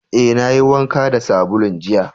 Eh, na yi wanka da sabulun jiya.